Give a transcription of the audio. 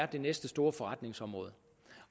det næste store forretningsområde